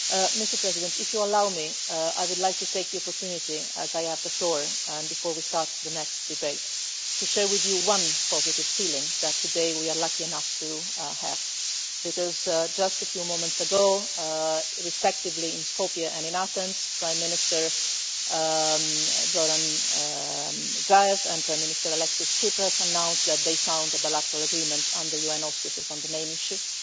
Mr President, if you allow me, I would like to take the opportunity, as I have the floor and before we start the next debate, to share with you one positive feeling that today we are lucky enough to have. Just a few moments ago, respectively in Skopje and in Athens, Prime Minister Zoran Zaev and Prime Minister Alexis Tsipras announced that they had found a bilateral agreement, under UN auspices, on the name issue.